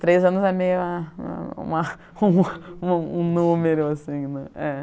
Três anos é meio uma uma uma um número assim, né. É